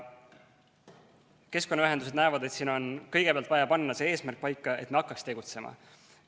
Keskkonnaühendused näevad, et siin on kõigepealt vaja panna eesmärk paika, et me hakkaks tegutsema.